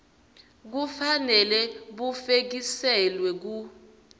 kufanele bufekiselwe ku